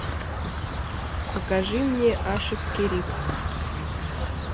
покажи мне ашик кериб